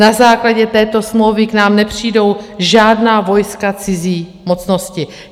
Na základě této smlouvy k nám nepřijdou žádná vojska cizí mocnosti.